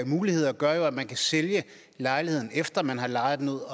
muligheder gør jo at man kan sælge lejligheden efter at man har lejet den ud